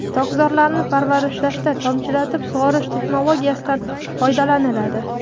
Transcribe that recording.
Tokzorlarni parvarishlashda tomchilatib sug‘orish texnologiyasidan foydalaniladi.